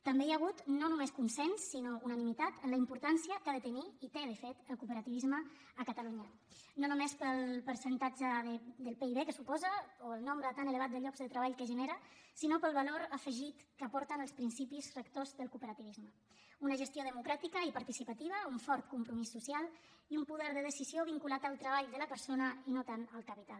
també hi ha hagut no només consens sinó unanimitat en la importància que ha de tenir i té de fet el cooperativisme a catalunya no només pel percentatge del pib que suposa o el nombre tan elevat de llocs de treball que genera sinó pel valor afegit que aporten els principis rectors del cooperativisme una gestió democràtica i participativa un fort compromís social i un poder de decisió vinculat al treball de la persona i no tant al capital